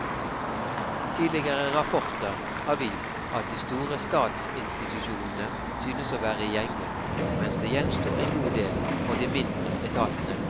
Tidligere rapporter har vist at de store statsinstitusjonene synes å være i gjenge, mens det gjenstår en god del for de mindre etatene.